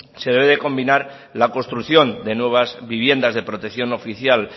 se debe combinar la construcción de nuevas viviendas de protección oficial